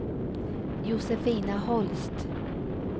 Josefina Holst